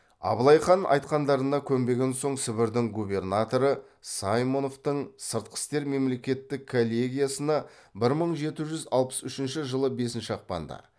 абылай хан айтқандарына көнбеген соң сібірдің губернаторы саймоновтың сыртқы істер мемлекеттік коллегиясына бір мың жеті жүз алпыс үшінші жылы бесінші ақпанда